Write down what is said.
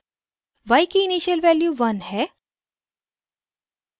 y की initial value 1 है